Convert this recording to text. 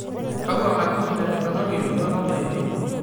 kakua katitin etipikaki iltualan lainei